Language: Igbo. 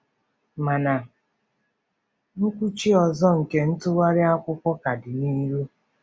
Mana nkwụchi ọzọ nke ntụgharị akwụkwọ ka dị n'ihu.